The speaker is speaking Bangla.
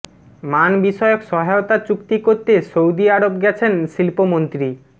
মান বিষয়ক সহায়তা চুক্তি করতে সৌদি আরব গেছেন শিল্পমন্ত্রী